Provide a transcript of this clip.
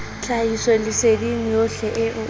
tlhahisoleseding yohle eo o re